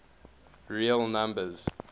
real numbers